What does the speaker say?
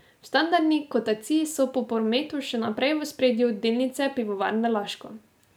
V standardni kotaciji so po prometu še naprej v ospredju delnice Pivovarne Laško.